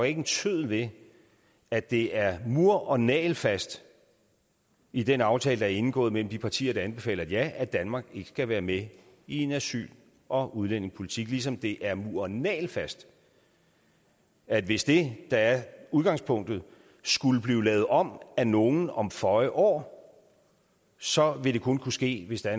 ikke en tøddel ved at det er mur og nagelfast i den aftale der er indgået mellem de partier der anbefaler et ja at danmark ikke skal være med i en asyl og udlændingepolitik ligesom det er mur og nagelfast at hvis det der er udgangspunktet skulle blive lavet om af nogen om føje år så vil det kun kunne ske hvis der